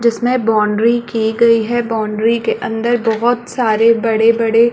जिसमें बाउंड्री की गई है बाउंड्री के अंदर बहोत सारे बड़े बड़े --